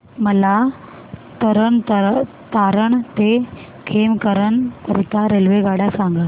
मला तरण तारण ते खेमकरन करीता रेल्वेगाड्या सांगा